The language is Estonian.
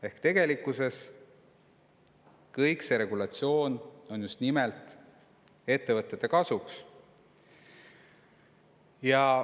Ehk tegelikkuses on see regulatsioon tehtud just nimelt ettevõtete kasuks.